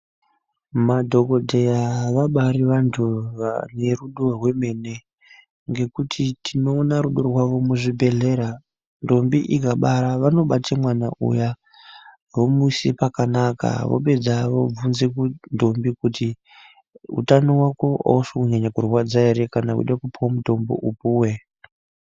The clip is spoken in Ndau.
Madhokodheya vabari vantu vane rudo rwemene ngekuti tinoona rudo rwavo muzvibhedhlera ndombi ikabara vanobate mwana uya vomise pakanaka vapedza vobvunze ndombi kuti utano wako ausi kunyanya kurwadza ere kana weida kupuwa mutombo upuwe.